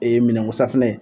minɛnko safunɛ ye